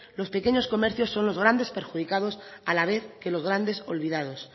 los pequeños comercios son los grandes perjudicados a la vez que los grandes olvidados